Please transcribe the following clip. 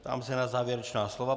Ptám se na závěrečná slova.